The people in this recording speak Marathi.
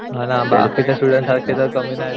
म्हणा आम्ही दुसऱ्यासारखे काय कमी नाही